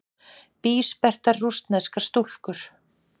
Bísperrtar rússneskar stúlkur.